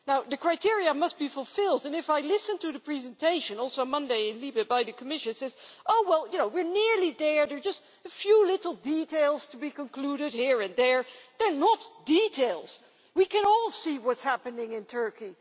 The criteria must be fulfilled, and, if I listen to the presentation also on Monday in LIBE by the Commission, who says well, we are nearly there, there are just a few little details to be concluded here and there they are not details we can all see what is happening in Turkey.